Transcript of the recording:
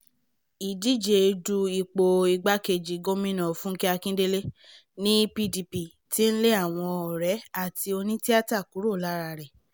ìdíje du ipò igbákejì gómìnà fúnkẹ́ akíndélé ní pdp tí ń lé àwọn ọ̀rẹ́ àti onítìáta tókù lára rẹ̀